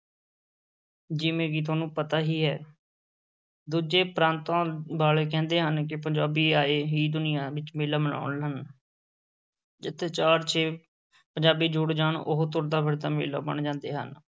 ਜਿਵੇਂ ਕਿ ਤੁਹਾਨੂੰ ਪਤਾ ਹੀ ਹੈ ਦੂਜੇ ਪ੍ਰਾਂਤਾਂ ਵਾਲੇ ਕਹਿੰਦੇ ਹਨ ਕਿ ਪੰਜਾਬੀ ਆਏ ਹੀ ਦੁਨੀਆਂ ਵਿੱਚ ਮੇਲਾ ਮਨਾਉਣ ਹਨ ਜਿੱਥੇ ਚਾਰ-ਛੇ ਪੰਜਾਬੀ ਜੁੜ ਜਾਣ, ਉਹ ਤੁਰਦਾ-ਫਿਰਦਾ ਮੇਲਾ ਬਣ ਜਾਂਦੇ ਹਨ।